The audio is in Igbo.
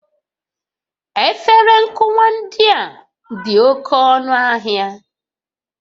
Efere nkụwa ndị a dị oke ọnụ ahịa